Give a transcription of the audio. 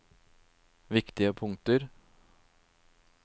viktige punkter